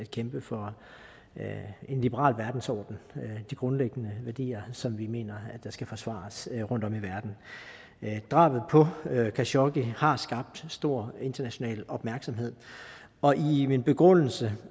kæmpe for en liberal verdensorden og de grundlæggende værdier som vi mener skal forsvares rundtom i verden drabet på khashoggi har skabt stor international opmærksomhed og i min begrundelse